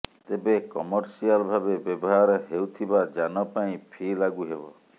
ତେବେ କମର୍ସିଆଲ ଭାବେ ବ୍ୟବହାର ହେଉଥିବା ଯାନ ପାଇଁ ଫି ଲାଗୁ ହେବ